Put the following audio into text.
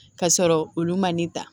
Ka sɔrɔ olu ma ne ta